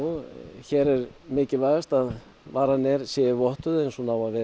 hér er mikilvægast að varan er c e vottuð eins og hún á að vera